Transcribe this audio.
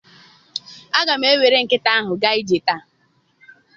Aga m ewere nkịta ahụ gaa ije taa.